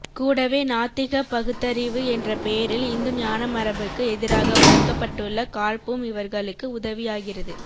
கூடவே நாத்திகப் பகுத்தறிவு என்ற பேரில் இந்துஞானமரபுக்கு எதிராக வளர்க்கப்பட்டுள்ள காழ்ப்பும் இவர்களுக்கு உதவியாகிறது